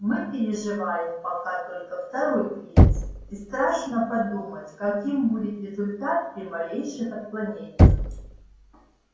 мы переживаем пока только второй кризис и страшно подумать каким будет результат при малейших отклонениях